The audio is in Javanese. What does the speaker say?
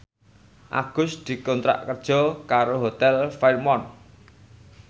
Agus dikontrak kerja karo Hotel Fairmont